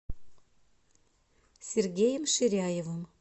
сергеем ширяевым